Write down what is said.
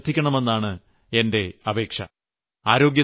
നിങ്ങൾ അത് പ്രത്യേകം ശ്രദ്ധിക്കണമെന്നാണ് എന്റെ അപേക്ഷ